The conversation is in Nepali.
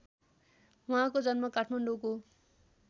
उहाँको जन्म काठमाडौँको